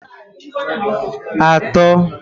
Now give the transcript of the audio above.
atọ